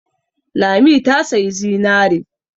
Lami ta sayi zinare.